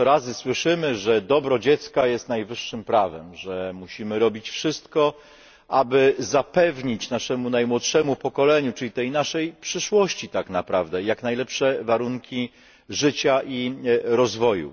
Ileż to razy słyszymy, że dobro dziecka jest najwyższym prawem, że musimy robić wszystko, aby zapewnić naszemu najmłodszemu pokoleniu, czyli tej naszej przyszłości tak naprawdę, jak najlepsze warunki życia i rozwoju.